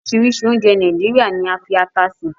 Orisiirisii ounje Naijiria ni a fi ata se